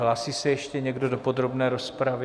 Hlásí se ještě někdo do podrobné rozpravy?